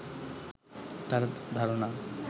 তার ধারণা